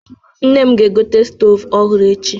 Nne m ga-egote stoovu ọhụrụ echi.